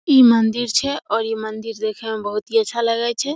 ई मंदिर छै और ई मंदिर देखे में बहुत ही अच्छा लगय छै ।